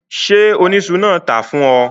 Ṣé oníṣu náà ló tàá fún ọ?